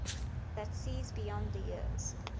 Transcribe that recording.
that sees beyond the years